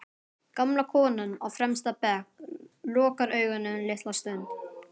Gamla konan á fremsta bekk lokar augunum litla stund.